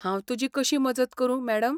हांव तुजी कशी मजत करूं, मॅडम?